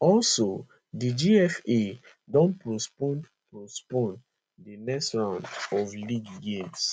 also di gfa don postpone postpone di next round of league games